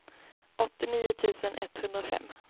åttionio tusen etthundrafem